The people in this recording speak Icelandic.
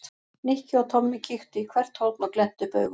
Nikki og Tommi kíktu í hvert horn og glenntu upp augun.